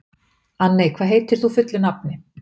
Anney, hvað heitir þú fullu nafni?